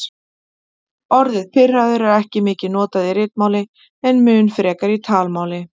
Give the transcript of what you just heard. Orðið pirraður er ekki mikið notað í ritmáli en mun frekar í talmáli.